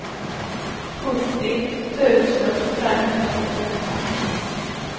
sjuttio tusen femhundrasjuttioåtta